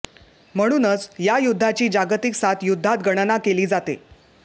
म्हणूनच या युद्धाची जागतिक सात युद्धात गणना केली जाते